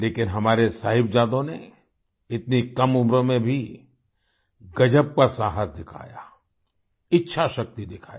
लेकिन हमारे साहिबजादों ने इतनी कम उम्र में भी गजब का साहस दिखाया इच्छाशक्ति दिखाई